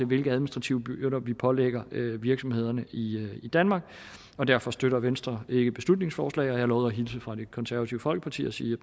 hvilke administrative byrder vi pålægger virksomhederne i danmark og derfor støtter venstre ikke beslutningsforslaget har lovet at hilse fra det konservative folkeparti og sige